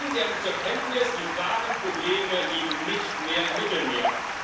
Nehmen Sie endlich zur Kenntnis Die wahren Probleme liegen nicht mehr im Mittelmeer.